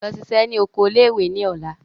Lọ ṣiṣẹ́ ní oko ilé ìwé ní ọ̀la!